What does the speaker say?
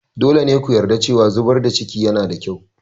Dole ne ku yarda cewa zubar da cikin yanada kyau.